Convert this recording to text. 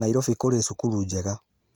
Nairobi kũrĩ cukuru njega